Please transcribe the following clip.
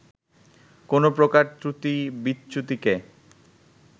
কোনো প্রকার ত্রুটি-বিচ্যুতিকে